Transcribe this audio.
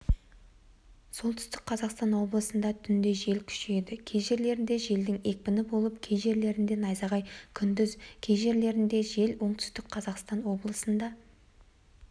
солтүстік қазақстан облысында түнде жел күшейеді кей жерлерінде желдің екпіні болып кей жерлерінде найзағай күндіз кей жерлерінде жел оңтүстік қазақстан облысында